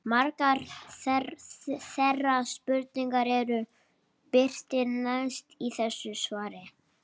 Margar þeirra spurninga eru birtar neðst í þessu svari.